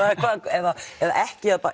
eða eða ekki